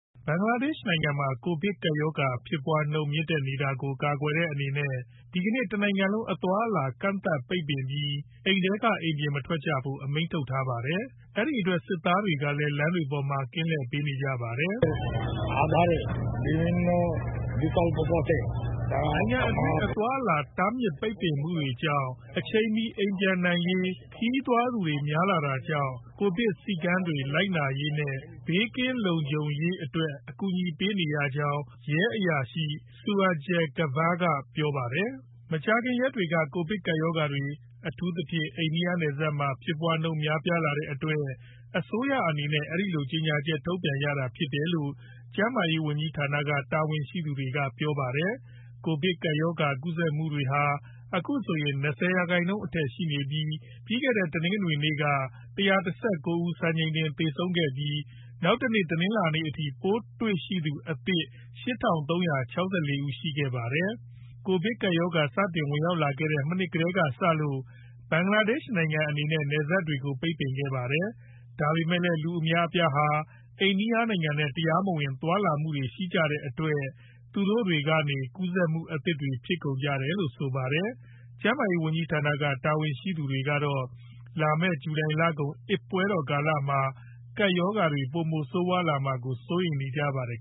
ဘင်္ဂလားဒေ့ရှ်နိုုင်ငံမှာ ကိုဗစ်ကပ်ရောဂါ ဖြစ်ပွားနှုန်းမြင့်တက်နေတာကို ကာကွယ်တဲ့ အနေနဲ့ ဒီကနေ့ တနိုင်ငံလုံး အသွားအလာကန့်သတ်ပိတ်ပင်ပြီး အိမ်ထဲက အိမ်ပြင်မထွက်ကြဖို့ အမိန့်ထုတ်ထားပါတယ်။ အဲဒီအတွက် စစ်သားတွေကလည်း လမ်းတွေပေါ်မှာ ကင်းလှည့်ပေးနေကြပါတယ်။ " နိုင်ငံတွင်း အသွားအလာ တားမြစ်ပိတ်ပင်မှုကြောင့် အချိန်မီ အိမ်ပြန်နိုင်ရေး ခရီးသွားသူတွေ များလာတာကြောင့် Covid စည်းကမ်းတွေ လိုက်နာရေးနဲ့ ဘေးကင်းလုံခြုံရေး အတွက်ကူညီပေးနေရကြောင်း" ရဲအရာရှိ Sirajul Kabir က ပြောပါတယ်။ မကြာခင်ရက်တွေက ကိုဗစ်ကပ်ရောဂါတွေ အထူးသဖြင့် အိန္ဒိယနယ်စပ်မှာ ဖြစ်ပွားနှုံးတွေများပြားနေတဲ့အတွက် အစိုးရအနေနဲ့ အဲဒီလို ကြေညာ ချက်ထုတ်ပြန်ရတာဖြစ်တယ်လို့ ကျန်းမာရေးဝန်ကြီးဌာနက တာဝန်ရှိသူတွေက ပြောပါတယ်။ ကိုဗစ်ကပ်ရောဂါကူးစက်မှုတွေဟာ အခုဆိုရင် ၂ဝရာခိုင်းနှုန်း အထက်ရှိနေပြီး ပြီးခဲ့တဲ့ တနင်္ဂနွေနေ့က ၁၁၉ဦး စံချိန်တင်သေဆုံးခဲ့ပြီး နောက်တနေ့ တနင်္လာနေ့အထိ ပိုးတွေ့ရှိသူအသစ် ၈၃၆၄ ဦးရှိခဲ့ပါတယ်။ ကိုဗစ်ကပ်ရောဂါစတင် ဝင်ရောက်လာခဲ့တဲ့ မနှစ်ကတည်းကစလို့ ဘင်္ဂလားဒေ့ရှ့်နိုင်ငံအနေနဲ့ နယ်စပ်တွေကို ပိတ်ပင်ခဲ့ပါတယ်။ ဒါပေမယ့်လည်း လူအများအပြားဟာ အိန္ဒိယနိုင်ငံနဲ့ တရားမဝင် သွားလာမှုတွေရှိကြတဲ့အတွက် သူတို့တွေကနေ ကူးစက်မှုအသစ်တွေဖြစ်ကုန်ကြတယ်လို့ဆိုပါတယ်။ ကျန်းမာရေးဝန်ကြီးဌာနက တာဝန်ရှိသူတွေကတော့ လာမယ့် ဂျူလိုင်လကုန် အစ်ပွဲတော်ကာလမှာ ကပ်ရောဂါတွေ ပိုမိုဆိုးဝါးလာမှာကို စိုးရိမ်နေကြပါတယ်